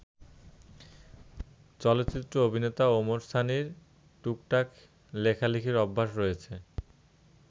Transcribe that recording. চলচ্চিত্র অভিনেতা ওমর সানীর টুকটাক লেখালেখির অভ্যাস রয়েছে।